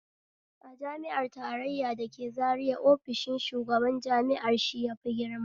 A jami'ar tarraya da ke zaria ofishin shugaban jami'ar shi yafi girma